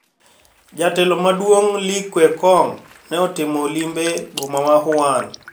Jatelo maduong` Li Kequang ne otimo limbe boma ma Wuhan